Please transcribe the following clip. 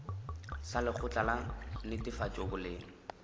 sa lekgotla la netefatšo boleng